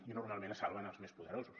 i normalment es salven els més poderosos